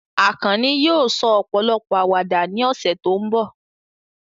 Akanni yóò sọ ọ̀pọ̀lọpọ̀ àwàdà ní ọ̀sẹ̀ tó ń bọ̀.